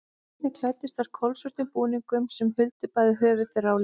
Einnig klæddust þær kolsvörtum búningum sem huldu bæði höfuð þeirra og líkama.